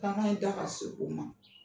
in da ka se o ma.